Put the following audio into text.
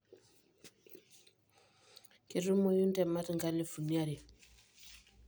ketumoyu intemat enkalifu are.